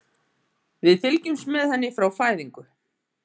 Við fylgjumst með henni frá fæðingu.